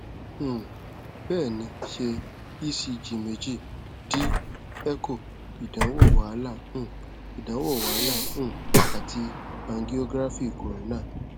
um bẹẹni ṣe ecg meeji d echo idanwo wahala um idanwo wahala um ati angiography corona